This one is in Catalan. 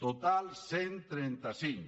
total cent i trenta cinc